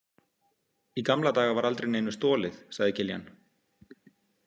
Í gamla daga var aldrei neinu stolið, sagði Kiljan.